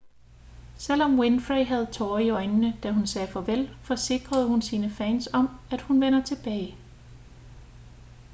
selvom winfrey havde tårer i øjnene da hun sagde farvel forsikrede hun sine fans om at hun vender tilbage